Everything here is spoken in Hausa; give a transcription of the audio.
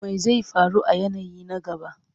Me zai faru a yanayi na gaba?